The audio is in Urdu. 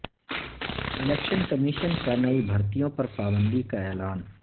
الیکشن کمیشن کا نئی بھرتیوں پر پابندی کا اعلان